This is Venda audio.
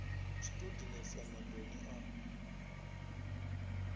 zwi tou dinesa maṱoni a